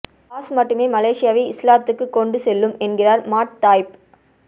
pass மட்டுமே மலேசியாவை இஸ்லாத்துக்குக் கொண்டு செல்லும் என்கிறார் மாட் தாயிப்